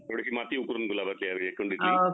थोडीशी माती उकरून गुलाबाच्या कुंडीत